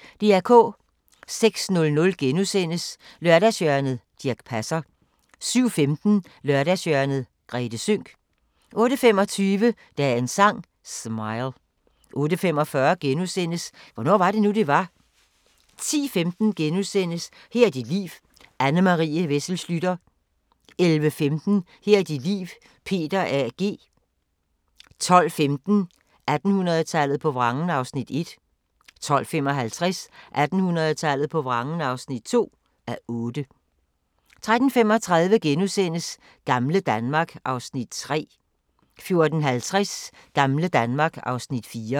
06:00: Lørdagshjørnet - Dirch Passer * 07:15: Lørdagshjørnet - Grethe Sønck 08:25: Dagens Sang: Smile 08:45: Hvornår var det nu, det var? * 10:15: Her er dit liv – Anne Marie Wessel Schlüter * 11:15: Her er dit liv – Peter A. G. 12:15: 1800-tallet på vrangen (1:8) 12:55: 1800-tallet på vrangen (2:8) 13:35: Gamle Danmark (Afs. 3)* 14:50: Gamle Danmark (Afs. 4)